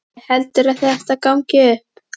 Gísli: Heldurðu að þetta gangi upp?